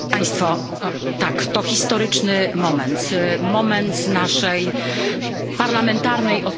Tak, to historyczny moment, moment naszej parlamentarnej odpowiedzialności.